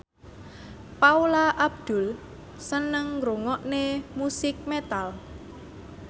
Paula Abdul seneng ngrungokne musik metal